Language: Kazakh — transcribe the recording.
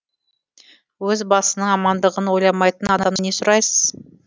өз басының амандығын ойламайтын адамнан не сұрайсыз